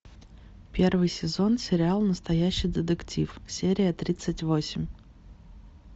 первый сезон сериал настоящий детектив серия тридцать восемь